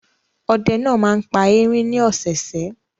Ọdẹ náà máa ń pa erin ní ọ̀sẹ̀ẹ̀sẹ̀?